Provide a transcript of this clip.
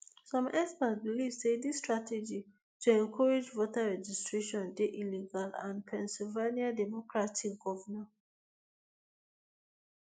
some experts believe say dis strategy to encourage voter registration dey illegal and and pennsylvania democratic governor